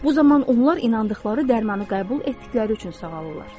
Bu zaman onlar inandıqları dərmanı qəbul etdikləri üçün sağalırlar.